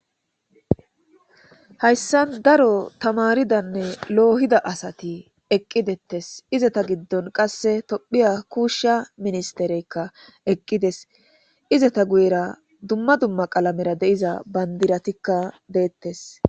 Hayssan daro tamaridanne loohida asati eqqidettes izata giddon qasse tophiya kuushsha ministereykka eqqides izata guyera dumma dumma qalamera deiza bandiratikka deettes.